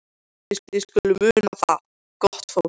Þið skuluð muna það, gott fólk,